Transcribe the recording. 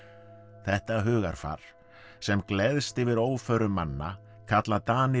þetta hugarfar sem gleðst yfir óförum manna kalla Danir